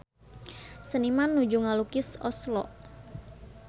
Seniman nuju ngalukis Oslo